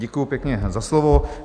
Děkuji pěkně za slovo.